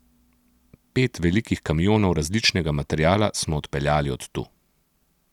Pet velikih kamionov različnega materiala smo odpeljali od tu.